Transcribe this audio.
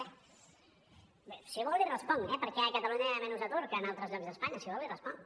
bé si vol li responc eh per què a catalunya hi ha menys atur que en altres llocs d’espanya si vol l’hi responc